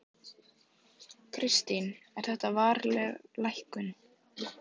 Kristín: Er þetta varanleg lækkun?